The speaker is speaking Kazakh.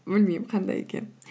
білмеймін қандай екенін